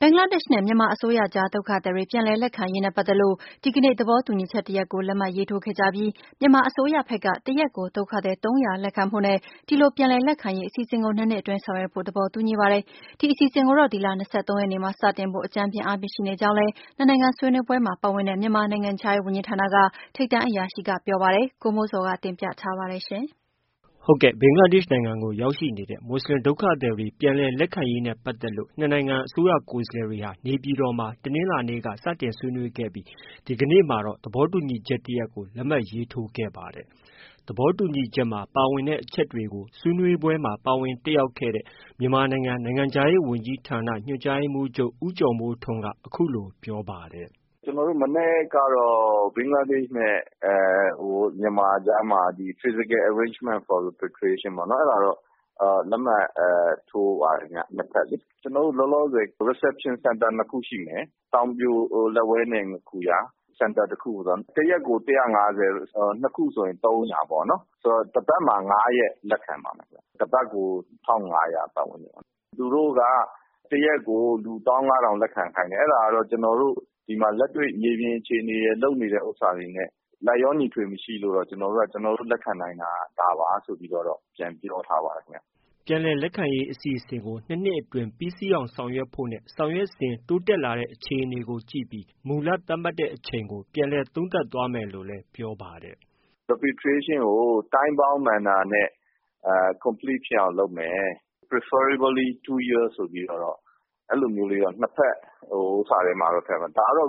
ဘင်္ဂလားဒေ့ရ်ှနဲ့ မြန်မာအစိုးရအကြား ဒုက္ခသည်တွေ ပြန်လည်လက်ခံရေးနဲ့ပတ်သက်လို့ ဒီကနေ့ သဘောတူညီချက်တရပ်ကို လက်မှတ်ရေးထိုးခဲ့ကြပြီး မြန်မာအစိုးရဖက်က တရက်ကို ဒုက္ခသည် ၃၀၀ လက်ခံ ဖို့နဲ့ ဒီလိုပြန်လည်လက်ခံရေးအစီအစဉ်ကို ၂နှစ်အတွင်း ဆောင်ရွက်ဖို့ သဘောတူညီပါတယ်။ ဒီအစီအစဉ် ကိုတော့ ဒီလ ၂၃ရက်နေ့မှာစတင်ဖို့ အကြမ်းဖျဉ်းအားဖြင့် ရှိနေကြောင်းလည်း နှစ်နိုင်ငံဆွေးနွေးပွဲမှာ ပါဝင်တဲ့ မြန်မာနိုင်ငံခြားရေးဝန်ကြီးဌာနက ထိပ်တန်းအရာရှိက ပြောပါတယ်။ ဒီသတင်းကို ဗွီအိုအေမြန်မာပိုင်းရဲ့ သတင်းထောက် ကိုမိုးဇော်က တင်ပြထားပါတယ်။ ဘင်္ဂလားဒေ့ရ်ှနိုင်ငံကို ရောက်ရှိနေတဲ့ မူဆလင်ဒုက္ခသည်တွေ ပြန်လည်လက်ခံရေးနဲ့ပက်သတ်လို့ နှစ်နိုင်ငံ အစိုးရကိုယ်စားလှယ်တွေဟာ နေပြည်တော်မှာ တနင်္လာနေ့ကစတင်ဆွေးနွေးခဲ့ပြီး ဒီကနေ့ မှာတော့ သဘောတူညီချက် တရပ်ကို လက်မှတ်ရေးထိုးခဲ့ပါတယ်။ သဘောတူညီချက်မှာ ပါဝင်တဲ့အချက်တွေကို ဆွေးနွေးပွဲမှာ ပါဝင်တက်ရောက်ခဲ့တဲ့ မြန်မာနိုင်ငံ နိုင်ငံခြားရေးဝန်ကြီးဌာန ညွှန်ကြားရေးမှူးချုပ် ဦးကျော်မိုးထွန်းက အခုလို ပြောပါတယ်။ “ ကျနော်တို့ မနက်ကတော့ ဘင်္ဂလားဒေ့ရ်ှနဲ့ မြန်မာကြားမှာ Physical Arrangement for Repatriation ပေါ့၊ အဲဒါတော့ လက်မှတ်ထိုးပါတယ်ခင်ဗျ။ နှစ်ဖက်လေ။ ကျနော်တို့ လောလောဆည် Reception Centre ၂ခုရှိမယ်။ တောင်ပြိုလက်ဝဲနဲ့ ငါးခူရ၊ Centre တခုကို တရက်ကို ၁၅၀ ။ ၂ခုဆိုရင် ၃၀၀ပေါ့နော်။ ဆိုတော့ တပတ်မှာ ၅ရက်လက်ခံပါမယ်။ တစ်ပတ်ကို ၁၅၀၀ ပတ်ဝန်းကျင်ပေါ့။ သူတို့က တစ်ရက်ကို ၁၅၀၀၀ လက်ခံခိုင်းတယ်။အဲဒါတော့ ကျနော်တို့ လက်တွေ့မြေပြင်အခြေအနေရယ် လုပ်နေတာတွေနဲ့ လိုက်လျောညီထွေမရှိလို့ ကျနော်တို့က ကျနောတို့လက်ခံနိုင်တာ ဒါပါဆိုပြီးတော့ ပြန်ပြောထားပါတယ်ခင်ဗျ။ ” ပြန်လည်လက်ခံရေးအစီအစဉ်ကို ၂နှစ်အတွင်း ပြီးစီးအောင်ဆောင်ရွက်ဖို့နဲ့ ဆောင်ရွက်စဉ် တိုးတက်လာတဲ့ အခြေအနေကို ကြည့်ပြီး မူလသတ်မှတ်တဲ့အချိန်ကို ပြန်လည်သုံးသပ်သွားမယ်လို့လည်း ပြောပါတယ်။ “Repatriation ကို time bound manner နဲ့ complete ဖြစ်အောင်လုပ်မယ်။ preferably two years ဆိုပြီးတော့ အဲလိုလေးတော့ နှစ်ဖက် ဟိုဥစ္စာထဲမှာ ထည့်ထားတယ်။ ဒါကတော့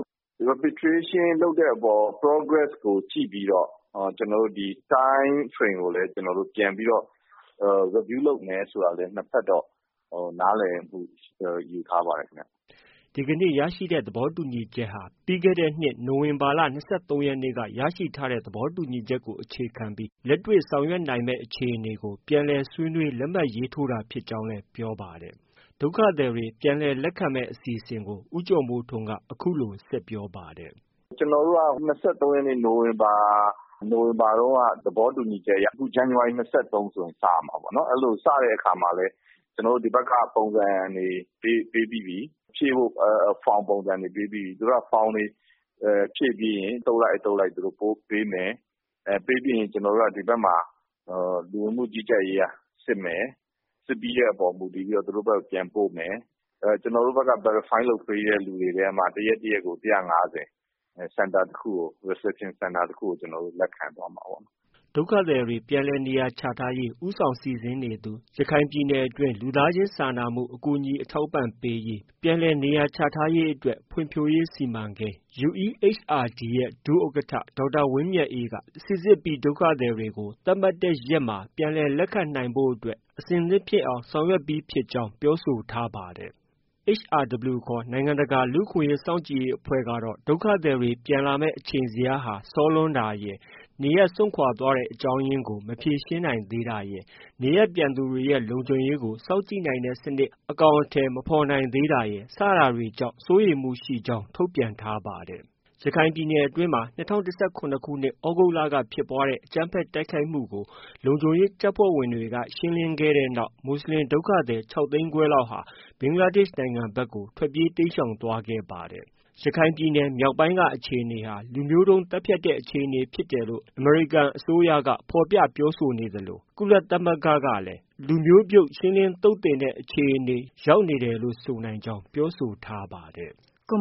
Repatriation လုပ်တဲ့အပေါ် progress ကို ကြည့်ပြီးတော့ ကျနော်တို့ Time frame ကိုလည်း ပြန်ပြီးတော့ review လုပ်မယ်ဆိုပြီးတော့ ကျနော်တို့ နားလည်မှုယူထားပါတယ်။ ” ဒီကနေ့ ရရှိတဲ့သဘောတူညီချက်ဟာ ပြီးခဲ့တဲ့ နိုဝင်ဘာလ ၂၃ရက်နေ့က ရရှိထားတဲ့သဘောတူညီချက်ကို အခြေခံပြီး လက်တွေ့ဆောင်ရွက်နိုင်မယ်အခြေအနေကို ပြန်လည်ဆွေးနွေး လက်မှတ်ရေးထိုးတာ ဖြစ်ကြောင်း လည်း ပြောပါတယ်။ ဒုက္ခသည်တွေ ပြန်လည်လက်ခံမယ်အစီအစဉ်ကို ဦးကျော်မိုးထွန်းက အခုလို ဆက်ပြောပါတယ်။ “ ကျနေ်ာတို့က ၂၃ရက်နေ့ နိုဝင်ဘာ တုန်းက သဘောတူညီချက်အရ အခု ဇန်နဝါရီ ၂၃ဆို စရမှာပေါ့နော်။ အဲလို စတဲ့အခါမှာလည်း ကျနော်တို့ ဒီဖက်က ပုံစံတွေ ပေးပြီးပြီ။ ဖြည့်ဖို့ from ပုံစံတွေပေးပြီးပြီ။ သူတို့က form တွေဖြည့်ပြီးရင် အသုတ်လိုက်၊ အသုတ်လိုက် ပို့ပေးမယ်။ ပေးပြီးရင် ကျနော်တို့က ဒီဖက်မှာ လူဝင်မှုကြီးကြပ်ရေးက စစ်မယ်။ စစ်ပြီးတဲ့ အပေါ်မူတည်ပြီးတော့ သူတို့ဖက်ကို ပြန်ပို့မယ်။ ကျနေ်ာတို့က verify လုပ်ပြီးတဲ့ သူတွေထဲမှာ တရက်တရက်ကို ၁၅၀ Reception center တခုကို လက်ခံသွားမှာပေါ့။ ” ဒုက္ခသည်တွေ နေရာချထားရေး ဦးဆောင်စီစဉ်နေသူ ရခိုင်ပြည်နယ်တွင်း လူသားချင်းစာနာမှု အကူအညီ အထောက်အပံ့ပေးရေး၊ ပြန်လည်နေရာချထားရေးအတွက် ဖွံ့ဖြိုးရေး စီမံကိန်း UEHRD ဒုဥက္ကဋ္ဌ ဒေါက်တာဝင်းမြတ်အေးက စိစစ်ပြီးဒုက္ခသည်တွေကို သတ်မှတ်ထားတဲ့ရက်မှာပြန်လည်လက်ခံဖို့အတွက် အဆင်သင့်ဖြစ်အောင်ဆောင်ရွက်ကြောင်း ပြောဆိုထားပါတယ်။ HRW ခေါ် နိုင်ငံတကာလူ့အခွင့်အရေးစောင့်ကြည့်ရေးအဖွဲ့ကတော့ ဒုက္ခသည်တွေ ပြန်လာမယ်အချိန်ဇယားက စောလွန်းတာရယ်၊ နေရပ်စွန့်ခွာသွားတဲ့အကြောင်းရင်းကို မဖြေရှင်းနိုင်သေးတာရယ်၊ နေရပ်ပြန်သူတွေရဲ့ လုံခြုံရေးကို စောင့်ကြည့်နိုင်တဲ့စနစ် အကောင်အထည်မဖော်နိုင်တာရယ် စတာတွေကြောင့် စိုးရိမ်မှုရှိကြောင်း ထုတ်ပြန်ထားပါတယ်။ ရခိုင်ပြည်နယ်အတွင်းမှာ ၂၀၁၇ခုနှစ် သြဂုတ်က ဖြစ်ပွားတဲ့အကြမ်းဖက်တိုက်ခိုက်မှုကို လုံခြုံရေး တပ်ဖွဲ့ဝင်တွေ က ရှင်းလင်းခဲ့တဲ့နောက် မူဆလင်ဒုက္ခသည်၆ သိန်းခွဲလောက်ဟာ ဘင်္ဂလားဒေ့ရှ်ဖက်ကို တိမ်းရှောင်သွား ခဲ့ပါ တယ်။ ရခိုင်ပြည်နယ်မြောက်ပိုင်းက အခြေအနေဟာ လူမျိုးတုံးသတ်ဖြတ်တဲ့အခြေအနေဖြစ်တယ်လို့ အမေရိ ကန်အစိုးရက ဖော်ပြပြောဆိုခဲ့သလို။ ကုလသမဂ္ဂကလည်း လူမျိုးပြုတ်ရှင်းလင်း သုတ်သင် တဲ့ အခြေအနေ ရောက်နေတယ်လို့ ဆိုနိုင်ကြောင်း ပြောဆိုထားပါတယ်။